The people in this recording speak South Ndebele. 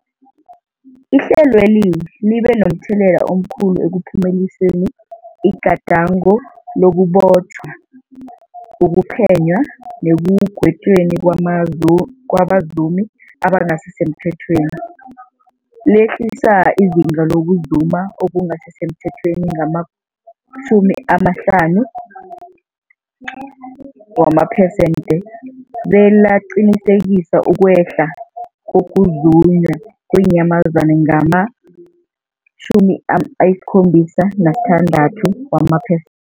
Ihlelweli libe momthelela omkhulu ekuphumeleliseni igadango lokubotjhwa, ukuphenywa nekugwetjweni kwabazumi abangasisemthethweni. Lehlisa izinga lokuzuma okungasi semthethweni ngama-50 wamapersenthe, belaqinisekisa ukwehla kokuzunywa kweenyamazana ngama-76 wamape